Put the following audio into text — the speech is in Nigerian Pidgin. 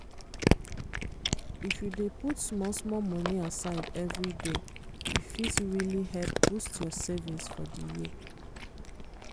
if you dey put small small money aside every day e fit really help boost your savings for the year.